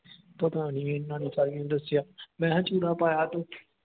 ਪਤਾ ਨਹੀ ਇਹਨਾਂ ਨਹੀਂ ਸਾਲੀ ਨੇ ਦੱਸਿਆ। ਮਹਿ ਚੂੜਾ ਪਾਇਆ ਤੂੰ